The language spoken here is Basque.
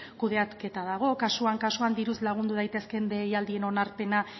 kudeaketa dago kasuan kasuan diruz lagundu daitezkeen deialdien onarpena